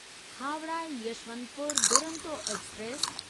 Howrah Yesvantpur Duronto express